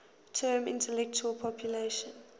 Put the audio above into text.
term intellectual property